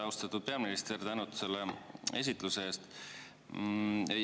Austatud peaminister, tänud selle esitluse eest!